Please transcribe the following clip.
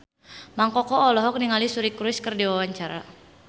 Mang Koko olohok ningali Suri Cruise keur diwawancara